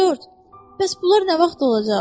Corc, bəs bunlar nə vaxt olacaq?